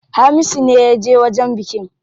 Hamisu ne yaje wajen bikin.